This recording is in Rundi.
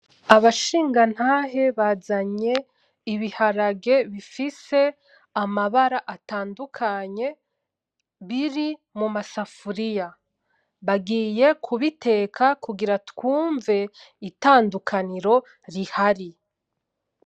Abashingantahe bazanye ibiharage bifise amabara atandukanye, biri mumasafuriya. Bagiye kubiteka kugira twumve itandukaniro rihari.